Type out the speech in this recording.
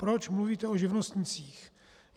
Proč mluvíte o živnostnících?